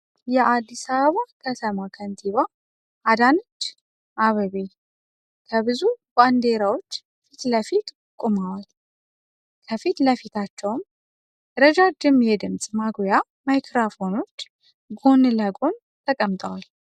የአዲስ አበባ ከተማ ከንቲባ አዳነች አቤቤ ከብዙ ባንዲራዎች ፊት ለፊት ቆመዋል። ከፊት ለፊታቸውም ረጃጅም የድምጽ ማጉያ ማይክራፎኖች ጎን ለጎን ተቀምጠዋል።